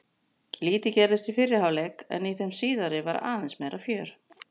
Lítið gerðist í fyrri hálfleik en í þeim síðari var aðeins meira fjör.